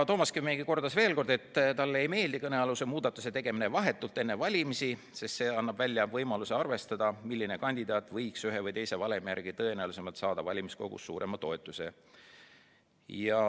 Toomas Kivimägi kordas veel, et talle ei meeldi kõnealuse muudatuse tegemine vahetult enne valimisi, sest see annab võimaluse välja arvestada, milline kandidaat võiks ühe või teise valemi järgi kõige tõenäolisemalt saada valimiskogus suurema toetuse.